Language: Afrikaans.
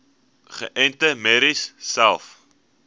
geënte merries selfs